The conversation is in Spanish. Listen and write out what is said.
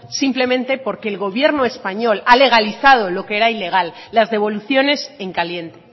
simplemente porque el gobierno español ha legalizado lo que era ilegal las devoluciones en caliente